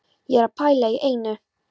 Ég er að pæla í einu.